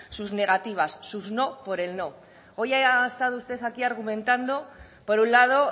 sus negativas sus no por el no hoy ha estado usted aquí argumentando por un lado